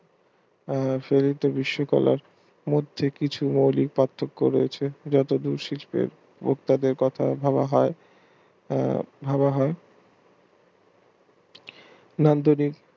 সাবিত বিশ্ব কলা মধ্যে কিছু অলীক পার্থক্য রয়েছে যাতে কথা ভাবা হয় আহ ভাবা হয় মাধ্যমিক